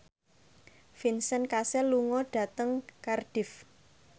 Vincent Cassel lunga dhateng Cardiff